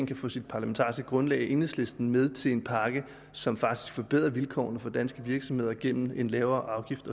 kan få sit parlamentariske grundlag enhedslisten med til en pakke som faktisk forbedrer vilkårene for danske virksomheder gennem lavere